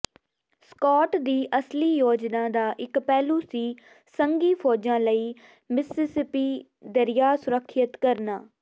Scott ਦੀ ਅਸਲੀ ਯੋਜਨਾ ਦਾ ਇਕ ਪਹਿਲੂ ਸੀ ਸੰਘੀ ਫ਼ੌਜਾਂ ਲਈ ਮਿਸਿਸਿਪੀ ਦਰਿਆ ਸੁਰੱਖਿਅਤ ਕਰਨਾ